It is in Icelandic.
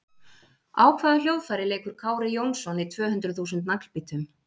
Á hvaða hljóðfæri leikur Kári Jónsson í tv hundruð þúsund Naglbítum?